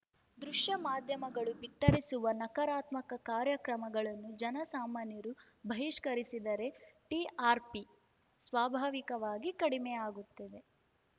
ದೃಶ್ಯ ಮಾಧ್ಯಮಗಳು ಬಿತ್ತರಿಸುವ ನಕಾರಾತ್ಮಕ ಕಾರ್ಯಕ್ರಮಗಳನ್ನು ಜನಸಾಮಾನ್ಯರು ಬಹಿಷ್ಕರಿಸಿದರೆ ಟಿಆರ್‌ಪಿ ಸ್ವಾಭಾವಿಕವಾಗಿ ಕಡಿಮೆಯಾಗುತ್ತದೆ